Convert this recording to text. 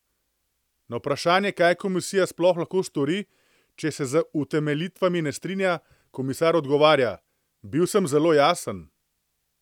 Na vprašanje, kaj komisija sploh lahko stori, če se z utemeljitvami ne strinja, komisar odgovarja: "Bil sem zelo jasen.